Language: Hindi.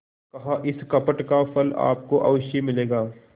कहाइस कपट का फल आपको अवश्य मिलेगा